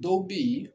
Dɔw bɛ yen